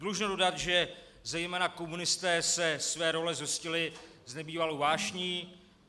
Dlužno dodat, že zejména komunisté se své role zhostili s nebývalou vášní.